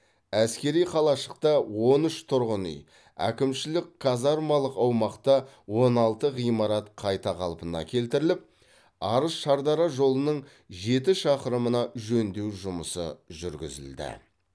әскери қалашықта он үш тұрғын үй әкімшілік қазармалық аумақта он алты ғимарат қайта қалпына келтіріліп арыс шардара жолының жеті шақырымына жөндеу жұмысы жүргізілді